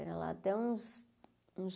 Pera lá, até uns uns.